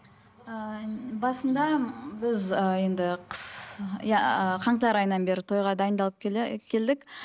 ыыы басында біз ыыы енді қыс иә қаңтар айынан бері тойға дайындалып келе келдік